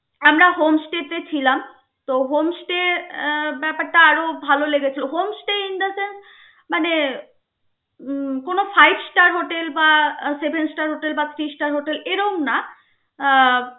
আমরা home stay তে ছিলাম তো home stay ব্যপারটা আরো ভাল লেগেছে home stay মানে উম কোন five star hotel বা seven star hotel বা three star hotel এইরকম না আহ